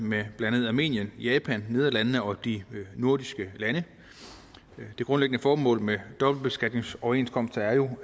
med blandt andet armenien japan nederlandene og de nordiske lande det grundlæggende formål med dobbeltbeskatningsoverenskomster er jo